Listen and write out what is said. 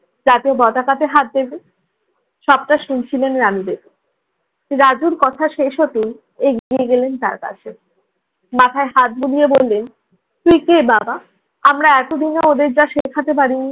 জাতীয় পতাকাতে হাত দিবে। সবটা শুনছিলেন রানু ভেদি, রাজুর কথা শেষ হতেই এগিয়ে গেলেন তার কাছে। মাথায় হাত বুলিয়ে বললেন, তুই কে বাবা? আমরা এতদিন না ওদের যা শিখাতে পারিনি